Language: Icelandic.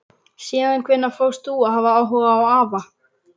Síðan hvenær fórst þú að hafa áhuga á afa?